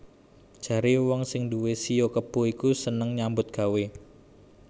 Jaré wong sing nduwé shio kebo iku seneng nyambut gawé